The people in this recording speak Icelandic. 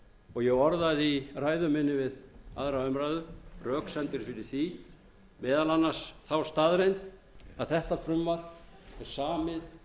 og ég orðaði í ræðu minni við aðra umræðu röksemdir fyrir því meðal annars þá staðreynd að þetta frumvarp er samið fyrir hrunið það